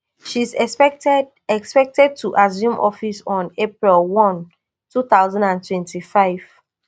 she is expected expected to assume office on april one two thousand and twenty-five